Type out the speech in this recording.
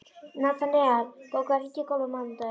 Natanael, bókaðu hring í golf á mánudaginn.